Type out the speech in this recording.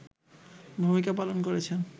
ভূমিকা পালন করেছেন